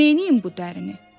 Neynəyim bu dərini?